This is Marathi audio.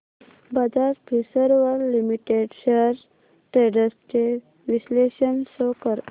Bajaj Finserv limited shares trends चे विश्लेषण शो कर